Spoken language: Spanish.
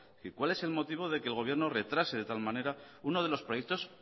qué cuál es el motivo de que el motivo retrase de tal manera uno de los proyectos